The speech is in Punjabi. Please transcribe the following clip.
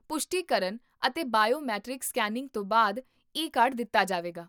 ਪੁਸ਼ਟੀ ਕਰਨ ਅਤੇ ਬਾਇਓਮੈਟ੍ਰਿਕ ਸਕੈਨਿੰਗ ਤੋਂ ਬਾਅਦ ਈ ਕਾਰਡ ਦਿੱਤਾ ਜਾਵੇਗਾ